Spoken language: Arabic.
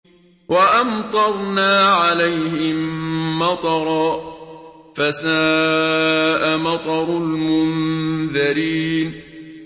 وَأَمْطَرْنَا عَلَيْهِم مَّطَرًا ۖ فَسَاءَ مَطَرُ الْمُنذَرِينَ